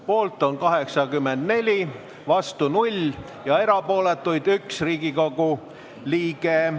Poolt on 84 Riigikogu liiget, vastuolijaid ei ole ja erapooletuid on 1.